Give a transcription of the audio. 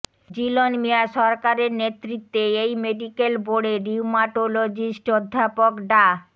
জিলন মিঞা সরকারের নেতৃত্বে এই মেডিকেল বোর্ডে রিউমাটোলজিস্ট অধ্যাপক ডা